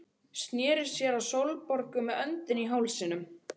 Sneri sér að Sólborgu með öndina í hálsinum.